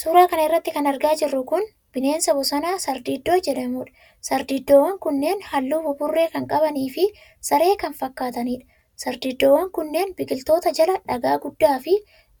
Suura kana irratti kan argaa jirru kun, bineensa bosonaa, sardiidoo jedhamuudha. Sardiidoowwan kunneen haalluu buburree kan qabanii fi saree kan fakkaatanidha. Sardiidoowwan kunneen, biqiloota jala ,dhagaa guddaa fi